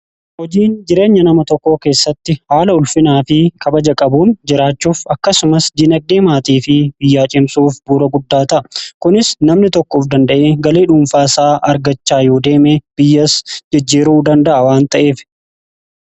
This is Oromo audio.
Hojiin jireenya nama tokkoo keessatti haala ulfinaa fi kabaja qabuun jiraachuuf akkasumas dinagdee maatii fi biyyaa cimsuuf bu'uura guddadha. kunis namni tokko of danda'ee galii dhuunfaa isaa argachaa yoo deeme biyyas jijjiiruu danda'a waan ta'eef